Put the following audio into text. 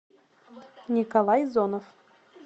николай зонов